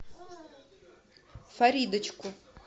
фаридочку